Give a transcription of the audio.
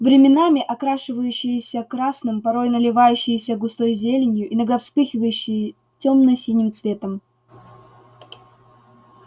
временами окрашивающееся красным порой наливающееся густой зеленью иногда вспыхивающее тёмно-синим цветом